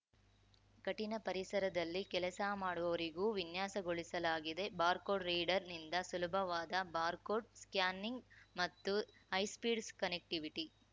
ಕಠಿಣ ಪರಿಸರದಲ್ಲಿ ಕೆಲಸ ಮಾಡುವವರಿಗೂ ವಿನ್ಯಾಸಗೊಳಿಸಲಾಗಿದೆ ಬಾರ್‌ಕೋಡ್‌ ರೀಡರ್‌ನಿಂದ ಸುಲಭವಾದ ಬಾರ್‌ಕೋಡ್‌ ಸ್ಕ್ಯಾನಿಂಗ್‌ ಮತ್ತು ಹೈಸ್ಪೀಡ್‌ ಕನೆಕ್ಟಿವಿಟಿ